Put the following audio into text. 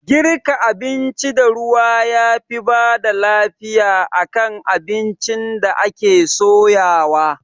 Girka abinci da ruwa yafi bada lafiya akan abincin da ake soyawa